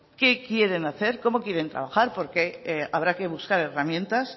qué quieren hacer cómo quieren trabajar porque habrá que buscar herramientas